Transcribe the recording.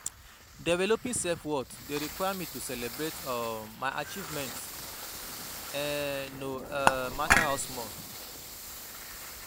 Developing self-worth dey require me to celebrate um my achievements, um no um matter how small.